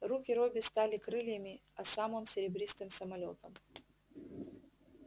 руки робби стали крыльями а сам он серебристым самолётом